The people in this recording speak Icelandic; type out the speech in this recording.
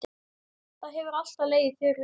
Það hefur alltaf legið fyrir.